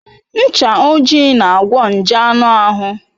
Ncha ojii na-agwọ nje anụ ahụ.